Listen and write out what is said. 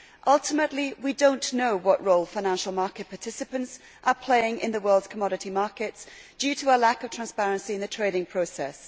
Ultimately we do not know what role financial market participants are playing in the world's commodity markets because there is a lack of transparency in the trading process.